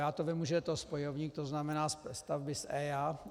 Já to vím, že to je spojovník, to znamená "stavby s EIA".